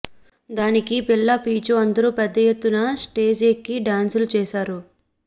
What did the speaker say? దానికి పిల్ల పీచు అందరూ పెద్ద ఎత్తున స్టేజ్ ఎక్కి డ్యాన్సులు చేశారు